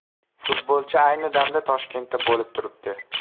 Futbolchi ayni damda Toshkentda bo‘lib turibdi.